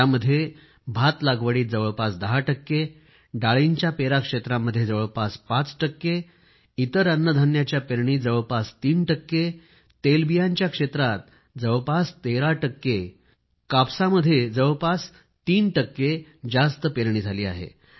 धानच्या रोपणीमध्ये जवळपास 10 टक्के डाळींच्या पेराक्षेत्रामध्ये जवळपास 5 टक्के आणि इतर अन्नधान्याच्या पेरणीत जवळपास 3 टक्के तेलबियांच्या क्षेत्रात जवळपास 13 टक्के कपासमध्ये जवळपास 3 टक्के जास्त पेरणी झाली आहे